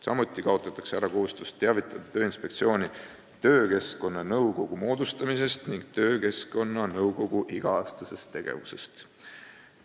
Samuti kaotatakse ära kohustus teavitada Tööinspektsiooni töökeskkonnanõukogu moodustamisest ning töökeskkonnanõukogu iga-aastasest tegevusest.